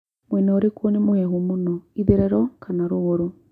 mwena ũrikũ nĩ mũhehu mũno ĩtherero kana rũgurũ